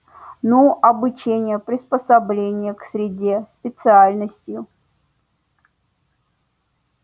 ну обучением приспособлением к среде специальностью